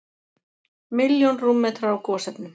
Milljón rúmmetrar af gosefnum